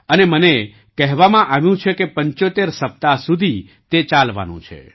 અને મને કહેવામાં આવ્યું કે ૭૫ સપ્તાહ સુધી તે ચાલવાનું છે